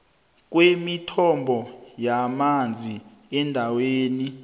kwemithombo yamanzi endaweni